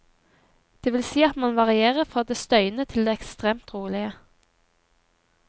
Det vil si at man varierer fra det støyende til det ekstremt rolige.